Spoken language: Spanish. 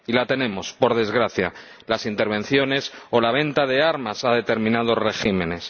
Y la tenemos, por desgracia las intervenciones o la venta de armas a determinados regímenes.